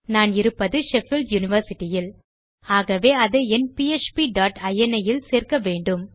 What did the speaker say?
நான் இருப்பது Sheffield University இல் ஆகவே அதை என் பிஎச்பி டாட் இனி இல் சேர்க்க வேண்டும்